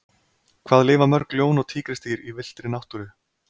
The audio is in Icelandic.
hvað lifa mörg ljón og tígrisdýr í villtri náttúru